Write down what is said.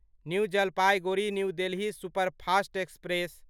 new Jalpaiguri new Delhi superfast express